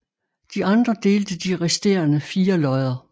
De andre delte de resterende fire lodder